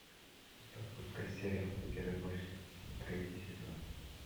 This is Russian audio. запускай сериал перевозчик третий сезон